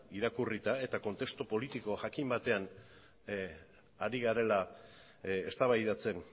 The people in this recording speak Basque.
irakurrita eta kontestu politikoa jakin batean ari garela eztabaidatzen